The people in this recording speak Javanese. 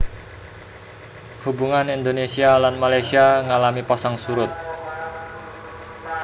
Hubungan Indonésia lan Malaysia ngalami pasang surut